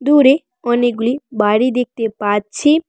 দূরে অনেকগুলি বাড়ি দেখতে পাচ্ছি।